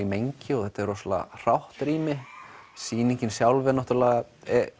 í mengi og þetta er rosalega hrátt rými sýningin sjálf er náttúrulega